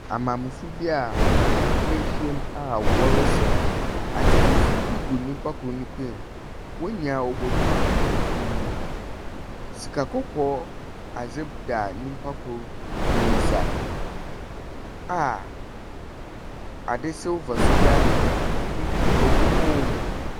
Maamefoɔ bi a woehyiam a wɔresaw. Adze fufuw bi gu nipa kor ne kɔn mu. Wɔn nyinaa wɔbɔ duukuu fufuo. Sika kɔkɔɔ adze da nipa kor ne nsa a ade silver nso da obi kɔn . Obi kɔn mu.